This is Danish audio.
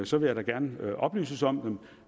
så vil jeg da gerne oplyses om dem